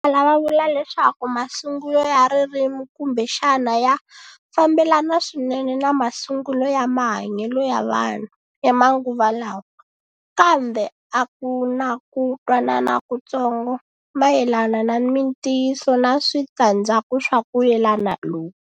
Vo tala va vula leswaku masungulo ya ririmi kumbexana ya fambelana swinene na masungulo ya mahanyelo ya vanhu ya manguva lawa, kambe a ku na ku twanana kutsongo mayelana na mintiyiso na switandzhaku swa ku yelana loku.